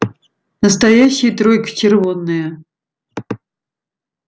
настоящая тройка червонная